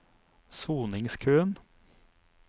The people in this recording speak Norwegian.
soningskøen